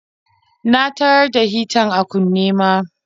Na tarar da shitar a kunne ma.